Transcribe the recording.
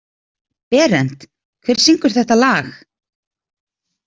Berent, hver syngur þetta lag?